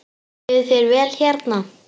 Líður þér vel hérna?